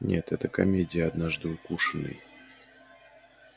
нет это комедия однажды укушенный